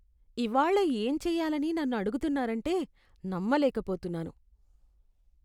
ఇవాళ్ళ ఏం చేయాలని నన్ను అడుగుతున్నారంటే నమ్మలేకపోతున్నాను.